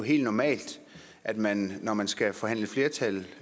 helt normalt at man når man skal forhandle et flertal